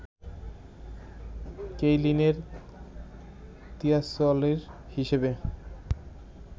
কেইলিনের তিয়াসওয়ালি হিসেবে